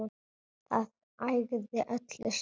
Það ægði öllu saman